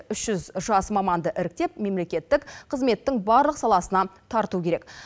үш жүз жас маманды іріктеп мемлекеттік қызметтің барлық саласына тарту керек